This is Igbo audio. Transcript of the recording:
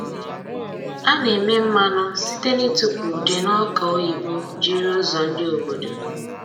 A na-eme mmanụ site na ịtụpụ ude n'ọka oyibo jiri ụzọ ndị obodo.